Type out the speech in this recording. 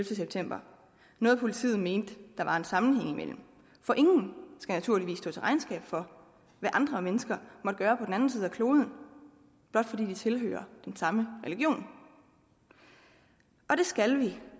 september noget politiet mente der var en sammenhæng imellem for ingen skal naturligvis stå til regnskab for hvad andre mennesker måtte gøre på den anden side af kloden blot fordi de tilhører den samme religion og det skal vi